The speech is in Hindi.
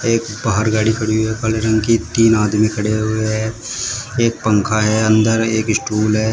एक बाहर गाड़ी खड़ी हुई है काले रंग की तीन आदमी खड़े हुए हैं एक पंखा है अंदर एक स्टूल है।